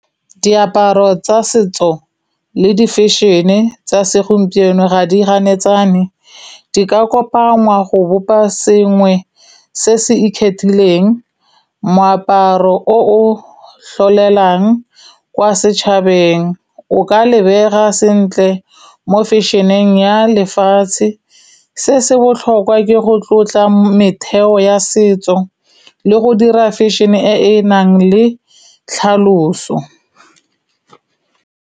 Diaparo tsa setso le di fashion-e tsa segompieno ga di ganetsane. Di ka kopangwa go bopa sengwe se se ikgethileng. Moaparo o o tlholelang kwa setšhabeng, o ka lebega sentle mo fashion-eng ya lefatshe. Se se botlhokwa ke go tlotla metheo ya setso le go dira fashion-e e e nang le tlhaloso.